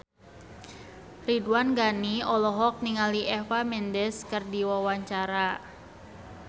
Ridwan Ghani olohok ningali Eva Mendes keur diwawancara